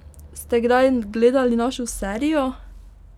Ste kdaj gledali našo serijo?